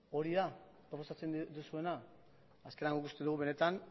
hori da proposatzen duzuena azkenean uste dugu benetan